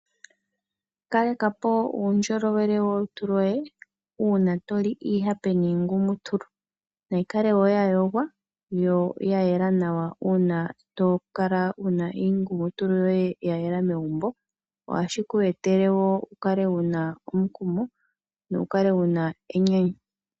Kalekapo uundjolowele wolutu loye uuna toli iihape niingumutulu . Nayikale woo nya yogwa yo ya yela uuna tokala wuna iingumutulu yoye ya yela megumbo . Ohashi ku etele wukale wuna omukumo nowu kale wuna enyanyu.